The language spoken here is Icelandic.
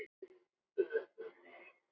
En það myndi varla duga.